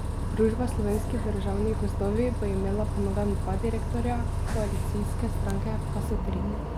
Družba Slovenski državni gozdovi bo imela po novem dva direktorja, koalicijske stranke pa so tri.